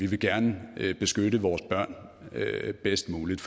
vi gerne vil beskytte vores børn bedst muligt